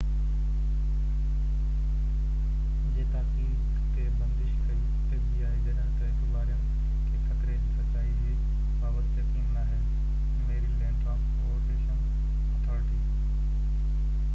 جڏهن ته اختيارين کي خطري جي سچائي جي بابت يقين ناهي Maryland transportation authority fbi جي تاڪيد تي بندش ڪئي